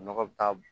Nɔgɔ bɛ taa